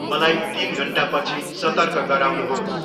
मलाइ तिन घन्टापछि सतर्क गराउनुहोस्।